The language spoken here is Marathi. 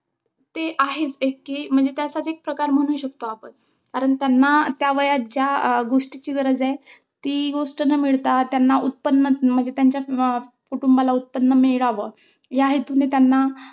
ते आहेच कि म्हणजे त्यासाठी एक प्रकार म्हणू शकतो, आपण कारण, त्यांना त्या वयात ज्या गोष्टींची गरज आहे. ती गोष्ट न मिळता, त्यांना उत्त्पन्न म्हणजे त्यांच्या कुटुंबाला उत्त्पन्न मिळावं या हेतूने त्यांना